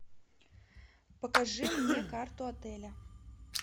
покажи мне карту отеля